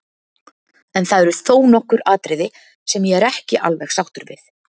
En það eru þó nokkur atriði sem ég er ekki alveg sáttur við.